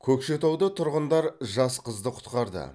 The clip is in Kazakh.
көкшетауда тұрғындар жас қызды құтқарды